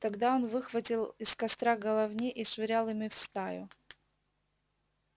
тогда он выхватывал из костра головни и швырял ими в стаю